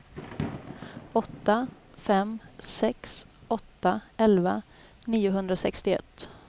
åtta fem sex åtta elva niohundrasextioett